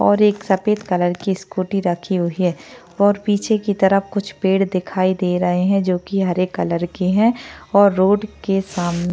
और एक सफेद कलर की स्कूटी रखी हुई है और पीछे की तरफ कुछ पेड़ दिखाई दे रहे हैं जो की हरे कलर के है और रोड के साम --